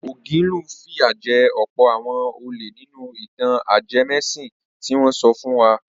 Ògilún fìyà jẹ ọ̀pọ̀ àwọn olè nínú ìtàn ajẹmẹ́sìn tí wọ́n sọ fún wa.